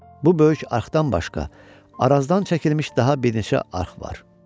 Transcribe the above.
Bu böyük arxdan başqa Arazdan çəkilmiş daha bir neçə arx var.